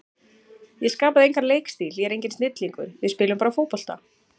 Ég skapaði engan leikstíl, ég er enginn snillingur, við spilum bara fótbolta.